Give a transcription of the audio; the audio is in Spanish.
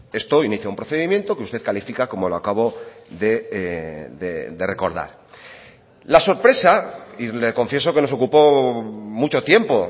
esto inicia un procedimiento que usted califica como lo acabo de recordar la sorpresa y le confieso que nos ocupó mucho tiempo